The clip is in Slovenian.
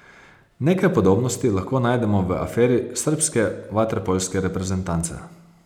Nekaj podobnosti lahko najdemo v aferi srbske vaterpolske reprezentance.